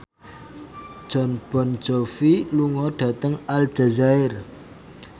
Jon Bon Jovi lunga dhateng Aljazair